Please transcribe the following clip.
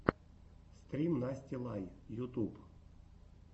стрим насти лай ютуб